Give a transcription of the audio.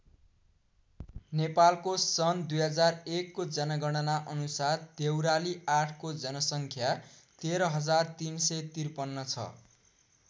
नेपालको सन् २००१ को जनगणना अनुसार देउराली ८ को जनसङ्ख्या १३३५३ छ।